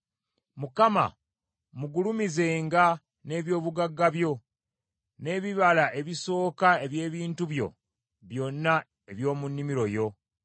Mukama mugulumizenga n’eby’obugagga byo; n’ebibala ebisooka eby’ebintu byo byonna eby’omu nnimiro yo,